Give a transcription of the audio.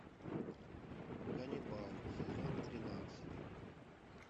ганнибал сезон тринадцать